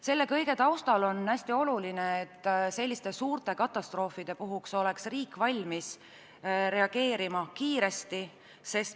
Selle kõige taustal on hästi oluline, et suurte katastroofide puhul oleks riik valmis reageerima kiiresti.